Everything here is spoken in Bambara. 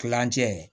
Kilancɛ